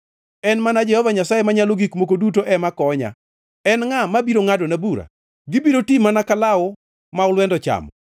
En mana Jehova Nyasaye Manyalo Gik Moko Duto ema konya. En ngʼa mabiro ngʼadona bura? Gibiro ti mana ka law, ma olwenda ochamo.